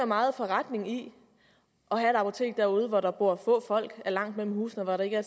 meget forretning i at have et apotek derude hvor der bor få folk hvor er langt mellem husene og hvor der ikke er